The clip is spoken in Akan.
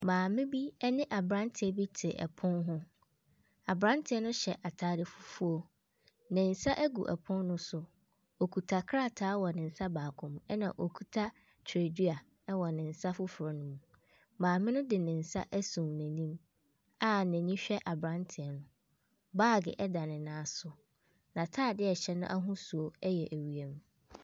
Maame bi ne aberanteɛ bi te pono ho. Aberanteɛ no hyɛ atade fufuo. Ne nsa gu pono no so. Ɔkuta krataa wɔ ne nsa baako mu, ɛna ɔkuta twerɛsua wɔ ne nsa foforɔ no mu. Maame no de ne nsa asum n'anim a n'ani hwɛ aberanteɛ no. Baage da ne nan so. N'atadeɛ a ɛhyɛ no ahosuo yɛ ewiem.